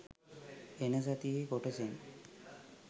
එන සතියේ කොටසෙන්